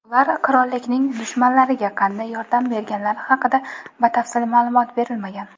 Ular qirollikning "dushmanlari"ga qanday yordam berganlari haqida batafsil ma’lumot berilmagan.